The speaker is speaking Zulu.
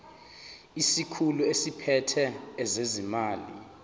isikhulu esiphethe ezezimali